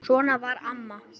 Svona var amma.